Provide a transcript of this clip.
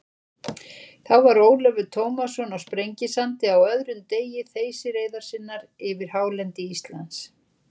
Þá var Ólafur Tómasson á Sprengisandi á öðrum degi þeysireiðar sinnar yfir hálendi Íslands.